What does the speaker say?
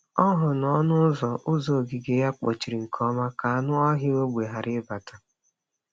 Ọ hụrụ na ọnụ ụzọ ụzọ ogige ya kpochiri nke ọma ka anụ ọhịa ógbè ghara ịbata.